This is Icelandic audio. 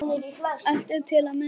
Allt er til að muna.